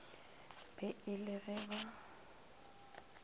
be e le ge ba